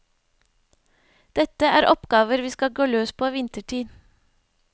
Dette er oppgaver vi skal gå løs på vinterstid.